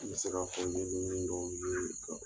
N bɛ se ka fɔ n ye dɔw ye